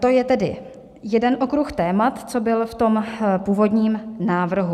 To je tedy jeden okruh témat, co byl v tom původním návrhu.